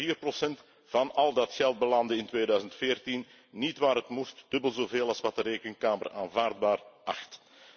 Meer dan vier procent van al dat geld belandde in 2014 niet waar het moest, dubbel zoveel als wat de Rekenkamer aanvaardbaar achtte.